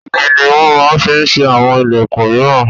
Igi ni wọn máa ń fi ṣe àwọn ìlẹ̀kun míràn.